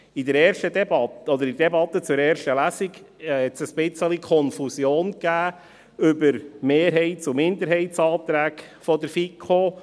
In der Debatte zur ersten Lesung, gab es eine kleine Konfusion über die Mehrheits- und Minderheitsanträge der FiKo.